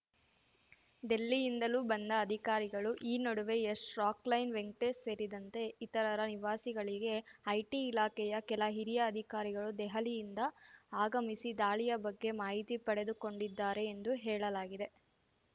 ದಿಲ್ಲಿಯಿಂದಲೂ ಬಂದ ಅಧಿಕಾರಿಗಳು ಈ ನಡುವೆ ಯಶ್‌ ರಾಕ್‌ಲೈನ್‌ ವೆಂಕಟೇಶ್‌ ಸೇರಿದಂತೆ ಇತರರ ನಿವಾಸಗಳಿಗೆ ಐಟಿ ಇಲಾಖೆಯ ಕೆಲ ಹಿರಿಯ ಅಧಿಕಾರಿಗಳು ದೆಹಲಿಯಿಂದ ಆಗಮಿಸಿ ದಾಳಿಯ ಬಗ್ಗೆ ಮಾಹಿತಿ ಪಡೆದುಕೊಂಡಿದ್ದಾರೆ ಎಂದು ಹೇಳಲಾಗಿದೆ